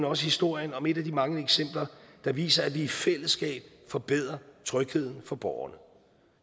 også historien om et af de mange eksempler der viser at vi i fællesskab forbedrer trygheden for borgerne